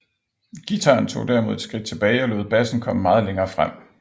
Guitaren tog derimod et skridt tilbage og lod bassen komme meget længere frem